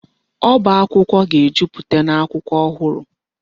Ọba akwụkwọ ga-ejupụta n'akwụkwọ ọhụrụ.